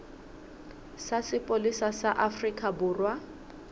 sa sepolesa sa afrika borwa